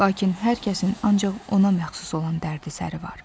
Lakin hər kəsin ancaq ona məxsus olan dərdi-səri var.